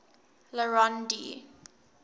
le rond d